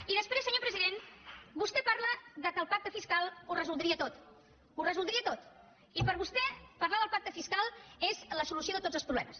i després senyor president vostè parla que el pacte fiscal ho resoldria tot ho resoldria tot i per vostè parlar del pacte fiscal és la solució de tots els problemes